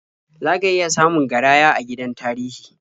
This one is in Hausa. Za ka iya samun garaya a gidan tarihi.